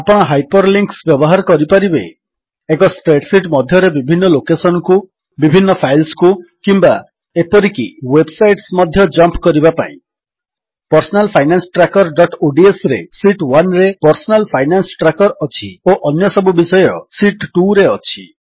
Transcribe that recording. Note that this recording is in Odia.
ଆପଣ ହାଇପରଲିଙ୍କ୍ସ ବ୍ୟବହାର କରିପାରିବେ ଏକ ସ୍ପ୍ରେଡ୍ ଶୀଟ୍ ମଧ୍ୟରେ ବିଭିନ୍ନ ଲୋକେଶନ୍ କୁ ବିଭିନ୍ନ ଫାଇଲ୍ସକୁ କିମ୍ୱା ଏପରିକି ୱେବ୍ ସାଇଟ୍ସ ମଧ୍ୟ ଜମ୍ପ କରିବା ପାଇଁ Personal Finance Trackerodsରେ ଶୀତ୍ 1ରେ ପର୍ସନାଲ ଫାଇନାନ୍ସ ଟ୍ରାକର ଅଛି ଓ ଅନ୍ୟସବୁ ବିଷୟ ଶୀତ୍ 2ରେ ଅଛି